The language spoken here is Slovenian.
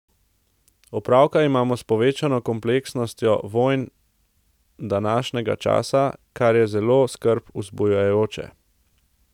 Opravka imamo s povečano kompleksnostjo vojn današnjega časa, kar je zelo skrb vzbujajoče.